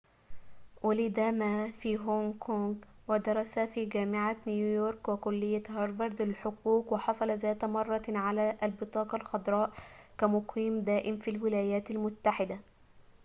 وُلد ما في هونغ كونغ ودرس في جامعة نيويورك وكلية هارفارد للحقوق وحصل ذات مرة على البطاقة الخضراء كمقيم دائم في الولايات المتحدة